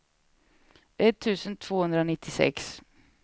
etttusen tvåhundranittiosex